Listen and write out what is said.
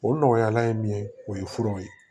O nɔgɔyala ye min ye o ye furaw ye